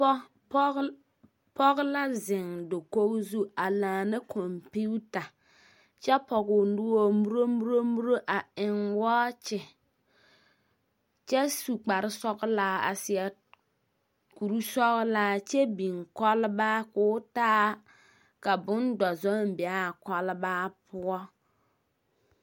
Pͻ pͻge, pͻge la zeŋe dakogi zu a laana kͻmpiita kyԑ pͻge o noͻre muromuromuro a eŋ wͻͻkye kyԑ su kpare sͻgelaa, a seԑ kuri sͻgelaa, kyԑ biŋ kͻlebaa ko o taa, ka bondͻzͻŋ be a kͻlebaa poͻ.